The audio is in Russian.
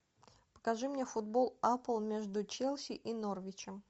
покажи мне футбол апл между челси и норвичем